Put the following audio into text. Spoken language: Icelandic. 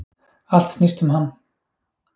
Allt snýst um hann.